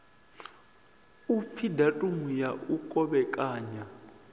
upfi datumu ya u kovhekanya